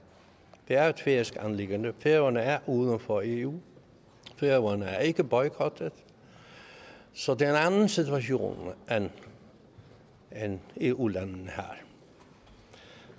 det er et færøsk anliggende færøerne er uden for eu færøerne er ikke boykottet så det er en anden situation end den eu landene